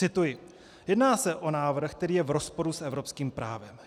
Cituji: "Jedná se o návrh, který je v rozporu s evropským právem.